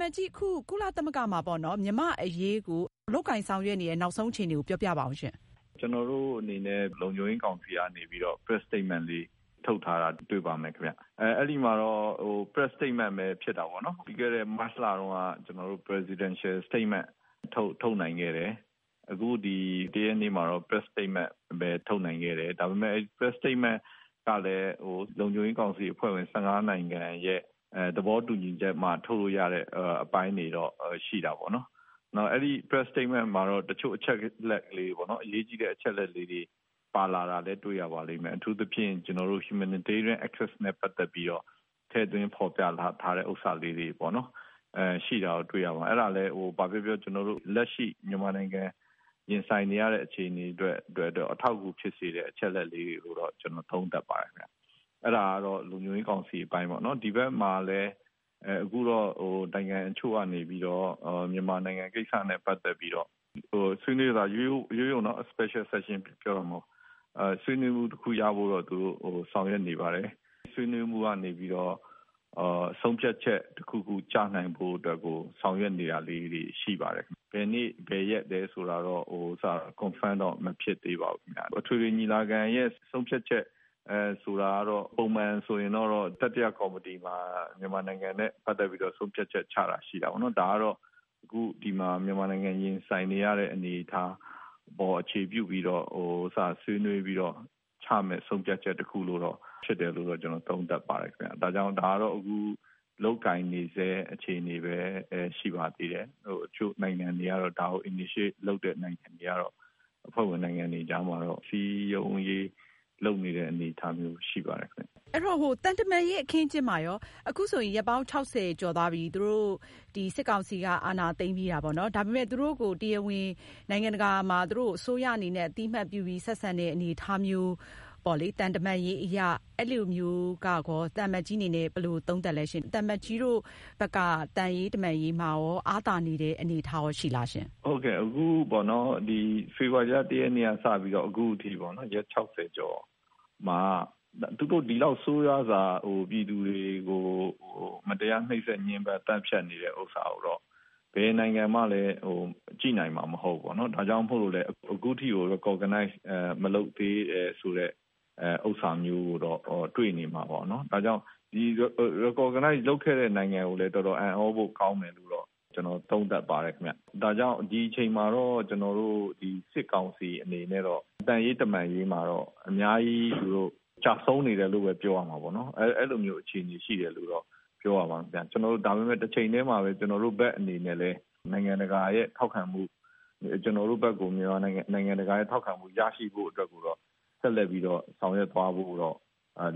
မတ်ကြီး အခု ကုလသမဂ္ဂမှာ လုပ်ဆောင်နေတဲ့ နောက်ဆုံးအခြေအနေကို ပြောပြပါဦးရှင့်။ ကျနော်တို့အနေနဲ့ လုံခြုံရေးကောင်စီကနေပြီးတော့ Press Statement ထုတ်ထားတာတွေ့ပါမယ်။ အဲဒီမှာတော့ Press Statement ပဲ ဖြစ်တာပေါ့နော်။ ပြီးခဲ့တဲ့ မတ်လတုန်းက Presidential Statement ထုတ်နိုင်ခဲ့တယ်။ အခု ဒီ ၁ ရက်နေ့မှာတော့ Press Statement ထုတ်နိုင်ခဲ့တယ်။ ဒါပေမယ့် Press Statement ကလည်း လုံခြုံရေးကောင်စီအဖွဲ့ဝင် ၁၅ နိုင်ငံရဲ့ သဘောတူညီချက်နဲ့မှ ထုတ်လို့ရတဲ့ အပိုင်းတွေတော့ ရှိတာပေါ့နော်။ အဲဒီ Press Statement မှာ တချို့အရေးကြီးတဲ့ အချက်အလက်လေးတွေ ပါတာလာလည်း တွေ့ရပါတယ်။ အထူးသဖြင့်ကျနော်တို့ Humanitarian access နဲ့ပတ်သက်ပြီးတော့ ထည့်သွင်းဖော်ပြထားတဲ့ ဟာတွေပေါ့နော် ရှိတာတော့ တွေ့ရပါတယ်။ အဲဒါလည်း ဘာပဲပြောပြော ကျနေ်ာတို့ လက်ရှိ မြန်မာနိုင်ငံ ရင်ဆိုင်နေရတဲ့ အခြေအနေအတွက်တော့ အထောက်အကူဖြစ်စေတဲ့ အချက်အလက်လေးတွေလို့ ကျနော်သုံးသပ်ပါတယ်။ အဲဒါကတော့ လုံခြုံရေးကောင်စီအပိုင်းပေါ့နော်။ ဒီဘက်မှာလည်း အခုတော့ နိုင်ငံအချို့ကနေပြီးတော့ မြန်မာနိုင်ငံကိစ္စနဲ့ ပတ်သက်ပြီးတော့ ဆွေးနွေးတယ်၊ ရိုးရိုးနော် special section ပြောတာမဟုတ်ဘူး။ ဆွေးနွေးမှုတခုရဖို့တော့ သူတို့ ဆောင်ရွက်နေပါတယ်။ ဆွေးနွေးမှုကနေပြီးတော့ ဆုံးဖြတ်ချက် တခုခု ကျနိုင်ဖို့အတွက်ကို ဆောင်ရွက်နေတာတွေရှိပါတယ်။ ဘယ်နေ့၊ ဘယ်ရက် လဲဆိုတာကတော့ Confirm တော့ မဖြစ်သေးပါဘူး။ အထွေထွေညီလာခံရဲ့ ဆုံးဖြတ်ချက်ဆိုတာကတော့ ပုံမှန်ကတော့ တတိယကော်မတီမှာ မြန်မာနိုင်ငံနဲ့ ပတ်သက်ပြီးတော့ ဆုံးဖြတ်ချက်ချတာ ရှိတာပေါ့နော်။ ဒါကတော့ အခုဒီမှာ မြန်မာနိုင်ငံ ရင်ဆိုင်နေရတဲ့ အနေအထားအပေါ် အခြေပြုပြီးတော့ ဆွေးနွေးပြီးတော့ ချမယ့် ဆုံးဖြတ်ချက်တခု ဖြစ်တယ်လို့တော့ ကျနော်သုံးသပ်ပါတယ်။ ဒါကြောင့် ဒါကတော့ အခု လုပ်ကိုင်နေစဲ အခြေအနေပဲ ရှိပါသေးတယ်။ အချို့ ဒါကို Initiate လုပ်တဲ့ နိုင်ငံတွေကတော့ အဖွဲ့ဝင်နိုင်ငံတွေကြားမှာတော့ စည်းရုံးရေး လုပ်နေတဲ့ အနေအထားမျိုး ရှိပါတယ်။ အဲဒီတော့ သံတမန်ရေးအခင်းအကျင်းမှာရော အခုဆိုရင် ရက်ပေါင်း ၆၀ ကျော်သွားပြီ စစ်ကောင်စီက အာဏာသိမ်းပြီးတာပေါ့နော်။ ဒါပေမယ့် သူတို့ကို နိုင်ငံတကာမှာ တရားဝင် အစိုးရအနေနဲ့ တရားဝင် အသိအမှတ်ပြုပြီး ဆက်ဆံတဲ့အနေအထားမျိုးပေါေ့လ၊ သံတမန်ရေးအရ အဲလိုမျိုး ရော သံအမတ်ကြီးအနေနဲ့ ဘယ်လိုသုံးသပ်သလဲရှင့်။ သံအမတ်ကြီးတို့ဘက်က သံရေး တမန်ရေးမှာရော အားသာနေတဲ့ အနေအထားရှိလားရှင့်။ ဟုတ်ကဲ့ အခုပေါ့နော် ဖေဖော်ဝါရီလ ၁ ရက်နေ့က စပြီးတော့ပေါ့နော် အခုအထိပေါ့နော် ရက် ၆၀ ကျော်မှာ သူတို့ ဒီလောက် ဆိုးရွာစွာ ပြည်သူတွေကို မတရားနှိတ်စက် ညှဉ်းပမ်း သတ်ဖြတ်နေတာ ကိုတော့ ဘယ်နိုင်ငံမှလည်း ကြည့်နိုင်မှ မဟုတ်ဘူး ။ဒါကြောင့်မို့ အခုအထိ Recognize မလုပ်သေးတာ ဆိုတဲ့ ဟာမျိုးကိုတော့တွေ့နေမှာပေါ့နော်။ ဒီ Recognize လုပ်ခဲ့တဲ့ နိုင်ငံကိုလည်း တော်တော်အံသြဖို့ကောင်းတယ်လို့တော့ ကျနော်သုံးသပ်ပါတယ်။ ဒါကြောင့် ဒီအချိန်မှာတော့ စစ်ကောင်စီအနေနဲ့တော့ သံရေး တမန်ရေးမှာတော့ အများကြီး ကျဆုံးနေတယ်လို့ ပြောရမှာပေါ့နော် အဲလိုမျိုး အခြေအနေရှိတယ်လို့ ပြောရမှာခင်ဗျ။ ဒါပေမယ့် တချိန်တည်းမှာပဲ ကျနော်တို့ဘက်အနေနဲ့ နိုင်ငံတကာရဲ့ ထောက်ခံမှု ရရှိဖို့အတွက်ကို ဆက်လက်ပြီးတော့ ဆောင်ရွက်သွားဖို့တော့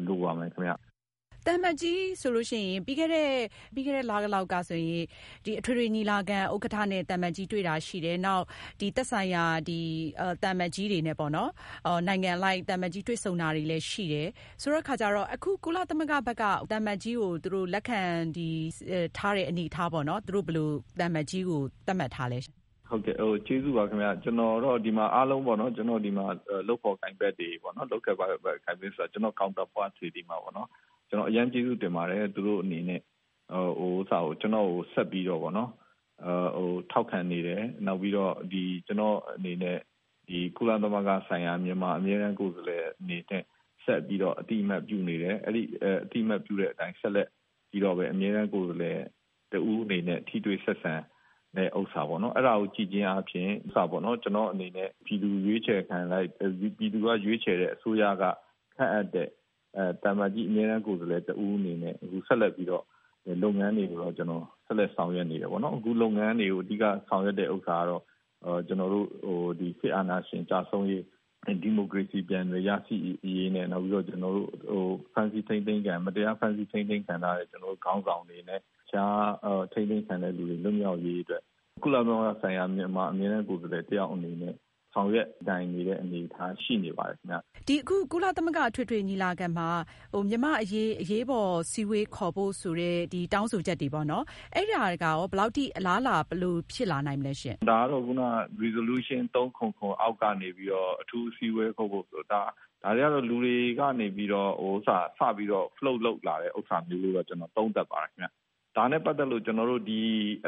လိုပါမယ်။ သံအမတ်ကြီးဆိုရင် ပြီးခဲ့တဲ့ လလောက်ကဆိုရင် အထွေထွေညီလာခံ ဥက္ကဌနဲ့ တွေ့တာရှိတယ်။ နောက်သက်ဆိုင်ရာ သံအမတ်ကြီးတွေနဲ့ပေါ့နော် နိုင်ငံအလိုက် သံအမတ်ကြီးတွေ့ဆုံတာလည်းရှိတယ် ဆိုတဲ့အခါကျတော့ အခု ကုလသမဂ္ဂက သံအမတ်ကြီးကို လက်ခံထားတဲ့အနေအထားပေါ့နော် သူတို့ဘယ်လို သံအမတ်ကြီးကို သတ်မှတ်ထားသလဲရှင့်။ ကျေးဇူးပါခင်ဗျ ကျနော်တော့ ဒီမှာ အားလုံးပေါ့နော် ၊ ဒီမှာ လုပ်ဖော်ကိုင်ဖက်တွေပေါေ့နာ် ကျနော့် counterpart တွေကို အရမ်းကျေးဇူးတင်ပါတယ်။ သူတို့အနေနဲ့ ကျနော့်ကို ဆက်ပြီးတော့ ထောက်ခံနေတယ် ၊ နောက်ပြီးတော့ ကျနော့်အနေနဲ့ ကုလသမဂ္ဂဆိုင်ရာ မြန်မာအမြဲတမ်းကိုယ်စားလှယ်အနေနဲ့ ဆက်ပြီးတော့ အသိအမှတ်ပြုနေတယ်။ အဲဒီလို အသိအမှတ်ပြုတဲ့အတိုင်း ဆက်ပြီးတော့ မြန်မာအမြဲတမ်းကိုယ်စားလှယ်တဦးအနေနဲ့ ထိတွေ့ဆက်ဆံတဲ့ဟာပေါ့နော် အဲဒါကို ကြည့်ချင်းအားဖြင့် ကျနော့်အနေနဲ့ ပြည်သူရွေးချယ်တဲ့ အစိုးရက ခန့်အပ်တဲ့ သံအမတ်ကြီးအမြဲတမ်းကိုယ်စားလှယ်တဦးအနေနဲ့ ဆက်လက်ပြီးတော့ လုပ်ငန်းတွေကို ကျနော် ဆက်လက် ဆောင်ရွက်နေတယ်ပေါ့နော်။ အခုလုပ်ငန်းတွေကို အဓိက ဆောင်ရွက်တဲ့ ဥစ္စာကတော့ ကျနော်တို့ စစ်အာဏာရှင် ကျဆုံးရေး ၊ ဒီမိုကရေစီ ပြန်လည်ရရှိရေး နဲ့ မတရားဖမ်းဆီးထိန်းသိမ်းခံထားရတဲ့ ကျနော်တို့ ခေါင်းဆောင်တွေနဲ့ တခြား အထိန်းသိမ်းခံထားရသူတွေ လွတ်မြောက်ရေးအတွက် ကုလသမဂ္ဂဆိုင်ရာ မြန်မာအမြဲတမ်းကိုယ်စားလှယ်အနေနဲ့ ဆောင်ရွက်နေတဲ့ အနေအထားရှိနေပါတယ်ခင်ဗျ။ ကုလသမဂ္ဂ အထွေထွေညီလာခံမှာ မြန်မာ့အရေး အရေးပေါ်အစည်းအဝေးခေါ်ဖို့ ဆိုပြီးတော့ တောင်းဆိုချက်တွေပေါ့နော် အဲဒါတွေကရော ဘယ်လောက်အထိ အလားအလာ ဘယ်လို ဖြစ်လာနိုင်ပါသလဲ။ ဒါကတော့ ခုန Resolution377 အောက်ကနေပြီးတော့ အထူးအစည်းအဝေးခေါ်ဖို့။ ဒါတွေကတော့ လူတွေကနေပြီးတော့ စပြီး Float လုပ်လာတယ်လို့ ကျနော် သုံးသပ်ပါတယ်ခင်ဗျ။ ဒါနဲ့ ပတ်သက်လို့ ကျနော်တို့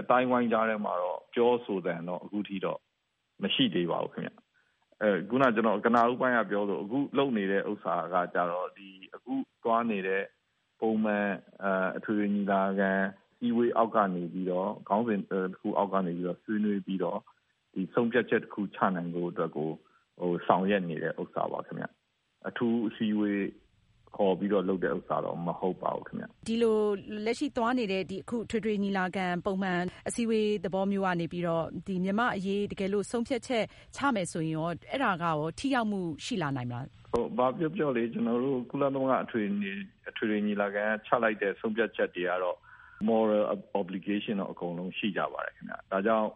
အသိုင်းအဝိုင်းကြားထဲမှာတော့ ပြောဆိုသံကတော့ အခုအထိ မရှိသေးပါဘူး။ ခုန ကျနော် ပြောသလို အခုလုပ်နေဟာ အခုသွားနေတဲ့ ပုံမှန် အထွေထွေညီလာခံ အစည်းအဝေး အောက်ကနေပြီးတော့ ခေါင်းစဉ်တခု အောက်ကနေပြီးတော့ ဆွေးနွေးပြီးတော့ ဒီ ဆုံးဖြတ်ချက်တခု ချနိုင်ဖို့အတွက်ကို ဆောင်ရွက်နေတဲ့ဥစ္စာပေါ့နော် ။ အထူး အစည်းအဝေးခေါ်တာတော့ မဟုတ်ပါဘူးခင်ဗျ။ ဒီလို လက်ရှိသွားနေတဲ့ အခု အထွေထွေညီလာခံ ပုံမှန်အစည်းအဝေး သဘောမျိုးကနေပြီးတော့ မြန်မာ့အရေး တကယ်လို့ ဆုံးဖြတ်ချက် ချမယ်ဆိုရင်ရော အဲဒါကရော ထိရောက်မှုရှိလာနိုင်မလား။ ဘာပြောပြောလေ ကျနော်တို့ ကုလသမဂ္ဂ အထွေထွေညီလာခံက ချလိုက်တဲ့ ဆုံးဖြတ်ချက်တွေကတော့ Moral obligation တော့ အကုန်လုံးရှိကြပါတယ်။ ဒါကြောင့်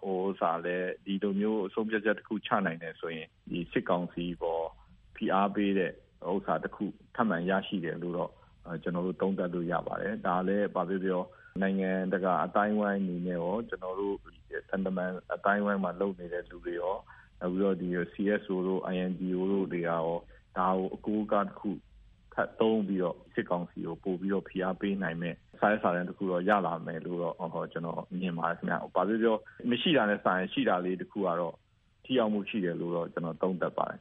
ဒီလိုမျိုး ဆုံးဖြတ်ချက်တခု ချနိုင်တယ်ဆိုရင် စစ်ကောင်စီအပေါ် ဖိအားပေးတဲ့ဟာတခု ထပ်မံရရှိတယ်လို့တော့ ကျနော်တို့ သုံးသပ်လို့ ရပါတယ်။ ဒါလည်း ဘာပဲပြောပြော နိုင်ငံတကာ အသိုင်းအဝိုင်းနဲ့ရော ကျနော်တို့ သံတမန်အသိုင်းအဝိုင်းမှာ လုပ်နေတဲ့သူနဲ့ရော ၊ CSO တို့ INGO တို့တွေကရော ဒါကို အကိုးအကားတခု ထပ်သုံးပြီးတော့ စစ်ကောင်စီကို ပိုပြီးတော့ ဖိအားပေးနိုင်မယ့် စာရွက်စာတန်းတခုတော့ ရလာမယ်လို့တော့ ကျနော်မြင်ပါတယ်ခင်ဗျ။ ဘာပဲပြောပြော မရှိတာထက်စာရင် ရှိတာလေးတခုကတော့ ထိရောက်မှု ရှိတယ်လို့ ကျနော်သုံးသပ်ပါတယ်ခင